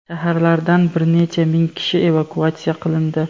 Shaharlardan bir necha ming kishi evakuatsiya qilindi.